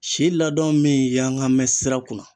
Si ladon min yanga bɛn sira kunna